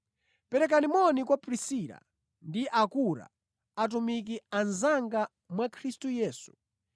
Perekani moni kwa Prisila ndi Akura, atumiki anzanga mwa Khristu Yesu.